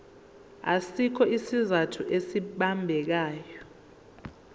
asikho isizathu esibambekayo